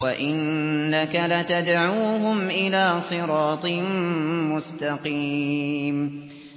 وَإِنَّكَ لَتَدْعُوهُمْ إِلَىٰ صِرَاطٍ مُّسْتَقِيمٍ